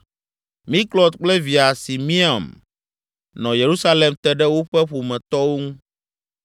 Miklot kple via Simeam nɔ Yerusalem te ɖe woƒe ƒometɔwo ŋu.